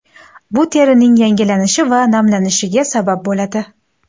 Bu terining yangilanishi va namlanishiga sabab bo‘ladi.